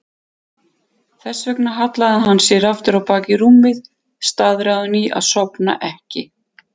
Þess vegna hallaði hann sér aftur á bak í rúmið, staðráðinn í að sofna ekki.